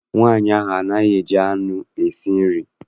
Nwaanyị ahụ anaghị eji anụ esi nri.